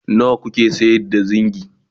nawa kuke sayar da zingi?